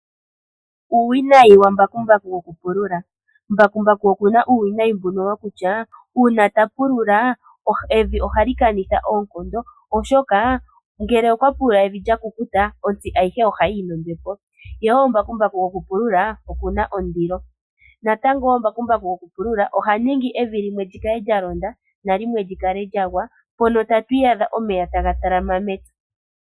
Uuwinayi wambakumbaku wo ku pulula mbakumbaku okuna uuwinayi mbuno wokutya uuna ta pulula evi ohali kanitha oonkondo oshoka ngele okwa pulula evi lya kukuta ontsi ayihe ohiyi yi nombepo ohali nombepo ngele okwa pulula oha futwa ye okuna ondilo natango mbakumbaku oha ningi evi limwe li kale lya gwa lyo lyimwe likale lya londa mono tatu iyadha omeya tafmga talama mevi.